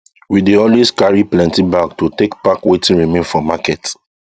we dey always carry plenty bag to take pack watin remain for market